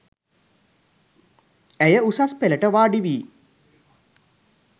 ඇය උසස් පෙළට වාඩි වී